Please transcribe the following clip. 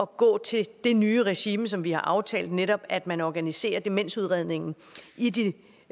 gå til det nye regime som vi har aftalt netop at man organiserer demensudredningen